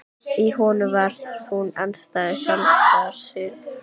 Í honum var hún andstæða sjálfrar sín.